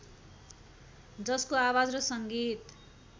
जसको आवाज र सङ्गीत